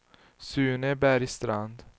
Sune Bergstrand